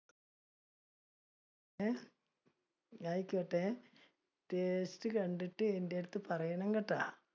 അഹ് ആയിക്കോട്ടെ. taste കണ്ടിട്ട് ഏറ്റെടുത്ത് പറയണം കേട്ട.